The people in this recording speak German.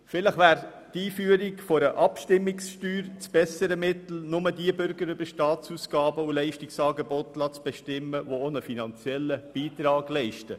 Vielleicht wäre die Einführung einer Abstimmungssteuer das bessere Mittel, um nur Bürger über Staatsausgaben und Leistungsangebote zu bestimmen lassen, die auch einen finanziellen Beitrag leisten.